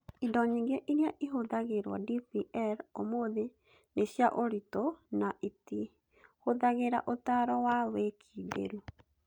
Indo nyingĩ iria ihũthagĩrũo DPL ũmũthĩ nĩ cia ũritũ na itihũthagĩra ũtaaro wa wĩkindĩru.